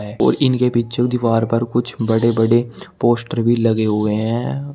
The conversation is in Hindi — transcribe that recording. और इनके पीछे वाली दीवार पर कुछ बड़े बड़े पोस्टर भी लगे हुए हैं।